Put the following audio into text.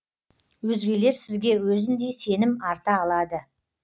өзгелер сізге өзіндей сенім арта алады